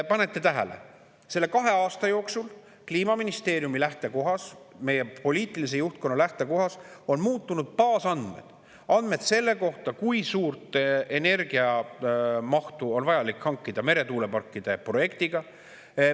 Panete tähele, kahe aasta jooksul on Kliimaministeeriumi ja meie poliitilise juhtkonna lähtekohas muutunud baasandmed, andmed selle kohta, kui suurt energiamahtu on vaja hankida meretuuleparkide projektiga.